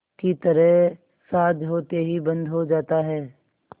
की तरह साँझ होते ही बंद हो जाता है